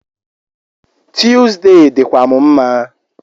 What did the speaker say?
Tuesday dịkwa m mma